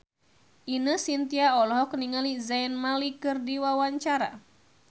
Ine Shintya olohok ningali Zayn Malik keur diwawancara